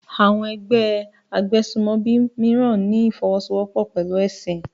Àwọn ẹgbẹ́ agbésùmọ̀bí mìíràn ní ìfọwọ́sowọ́pọ̀ pẹ̀lú ẹ̀sìn